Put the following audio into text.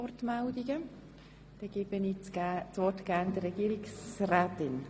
Ich gebe das Wort der Regierungsrätin.